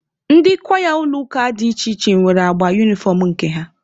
Ndị kwaya ụlọ ụka dị iche iche nwere agba unifọm nke ha.